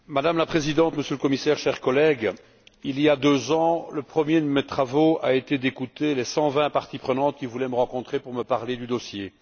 Madame la Présidente, Monsieur le Commissaire, chers collègues, il y a deux ans, le premier de mes travaux a été d'écouter les 120 parties prenantes qui voulaient me rencontrer pour me parler du dossier.